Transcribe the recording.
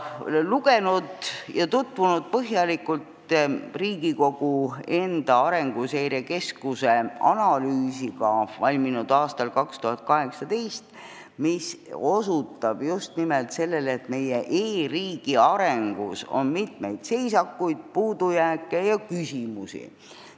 Olen lugenud ja põhjalikult tutvunud Riigikogu enda Arenguseire Keskuse 2018. aastal valminud analüüsiga, mis osutab just nimelt sellele, et meie e-riigi arengus on seisakuid, puudujääke ja mitmeid küsimusi.